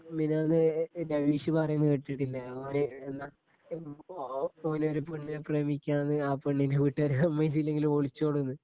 മിനിഞ്ഞാന്ന് ഏ വിഷു പറയുന്ന കേട്ടിട്ടില്ലേ ഓ ഓന് ഒരു പെണ്ണിനെ പ്രേമിക്കുവാന്നു അപ്പൊ പെണ്ണിനെ വീട്ടുകാര് സമ്മദിച്ചില്ലങ്കിൽ ഒളിച്ചോടുമെന്ന്.